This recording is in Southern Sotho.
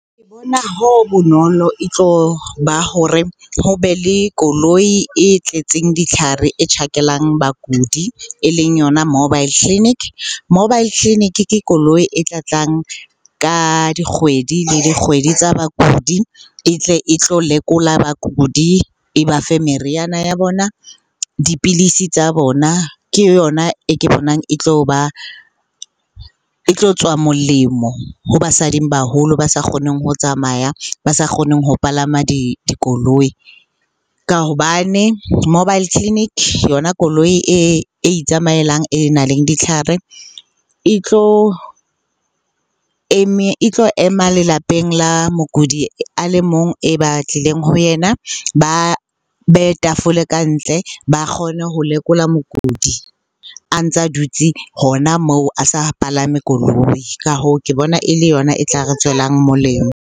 Ke bona ho bonolo e tlo ba hore ho be le koloi e tletseng ditlhare e tjhakelang bakudi e leng yona mobile clinic. Mobile clinic ke koloi e tla tlang ka dikgwedi le dikgwedi tsa bakudi, e tle e tlo lekola bakudi, e ba fe meriana ya bona, dipilisi tsa bona. Ke yona e ke bonang e tlo ba, e tlo tswa molemo ho basading baholo ba sa kgoneng ho tsamaya, ba sa kgoneng ho palama dikoloi. Ka hobane mobile clinic, yona koloi e itsamaelang e nang le ditlhare e tlo ema lelapeng la mokudi a le mong e ba tlileng ho yena, ba beye tafole ka ntle ba kgone ho lekola mokudi a ntsa a dutse hona moo a sa palame koloi. Ka hoo, ke bona e le yona e tla re tswelang molemo.